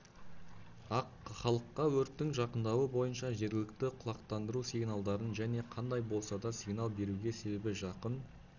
ақ халыққа өрттің жақындауы бойынша жергілікті құлақтандыру сигналдарын және қандай болсада сигнал беруге себебі жақын